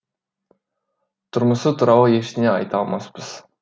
тұрмысы туралы ештеңе айта алмаспыз